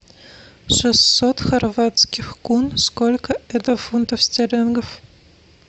шестьсот хорватских кун сколько это фунтов стерлингов